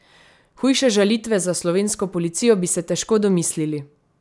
Hujše žalitve za slovensko policijo bi se težko domislili!